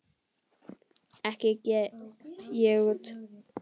Ekki get ég út